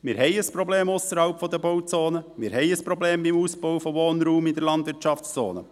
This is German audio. Wir haben ein Problem ausserhalb der Bauzonen, wir haben ein Problem beim Ausbau von Wohnraum in der Landwirtschaftszone.